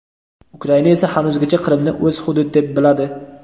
Ukraina esa hanuzgacha Qrimni o‘z hudud deb biladi.